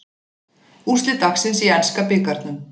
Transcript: Úrslit dagsins í enska bikarnum